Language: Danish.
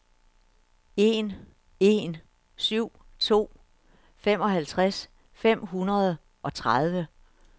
en en syv to femoghalvtreds fem hundrede og tredive